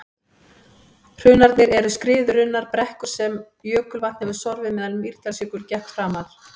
hrunarnir eru skriðurunnar brekkur sem jökulvatn hefur sorfið meðan mýrdalsjökull gekk framar